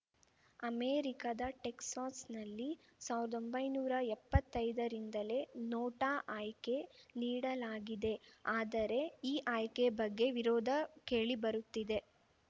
ಅಮೆರಿಕದ ಟೆಕ್ಸಾಸ್‌ನಲ್ಲಿ ಸಾವಿರ್ದೊಂಭೈನೂರಾ ಎಪ್ಪತ್ತೈದರಿಂದಲೇ ನೋಟಾ ಆಯ್ಕೆ ನೀಡಲಾಗಿದೆ ಆದರೆ ಈ ಆಯ್ಕೆ ಬಗ್ಗೆ ವಿರೋಧ ಕೇಳಿಬರುತ್ತಿದೆ